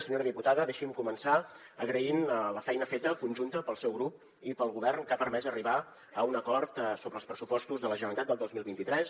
senyora diputada deixi’m començar agraint la feina feta conjunta pel seu grup i pel govern que ha permès arribar a un acord sobre els pressupostos de la generalitat del dos mil vint tres